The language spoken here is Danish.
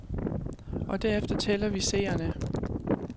Og derefter tæller vi seerne.